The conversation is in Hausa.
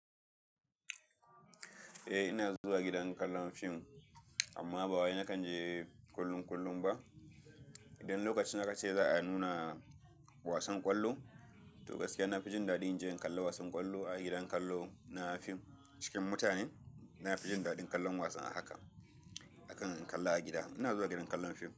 Eh ina zuwa gidan kallon fim amma ba wai nakan je kullum kullum ba. Idan lokacin aka ce za a nuna wasan ƙwallo, to gaskiya na fi jin daɗin inje in kalli wasan ƙwallo a gidan kallo na fim cikin mutane. Na fi jin daɗin kallon wasan a haka akan in kalla a gida. Ina zuwa gidan kallon fim.